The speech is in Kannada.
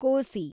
ಕೋಸಿ